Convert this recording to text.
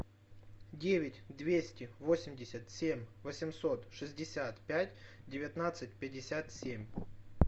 девять двести восемьдесят семь восемьсот шестьдесят пять девятнадцать пятьдесят семь